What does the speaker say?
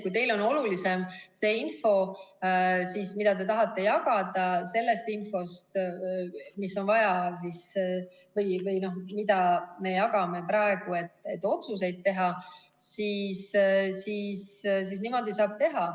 Kui teile on olulisem see info, mida te tahate jagada, sellest infost, mida me jagame praegu, et otsuseid teha, siis niimoodi saab teha.